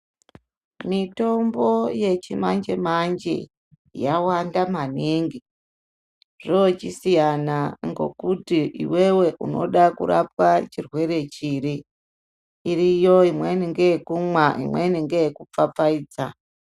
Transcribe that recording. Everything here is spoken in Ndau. Mitombo yechi manje manje yawanda maningi zvochisiyana ngokuti iwewe unoda kurapwa chirwere chiri iriyo imweni ngeyokumwa imweni ngeyokupfapfaidza.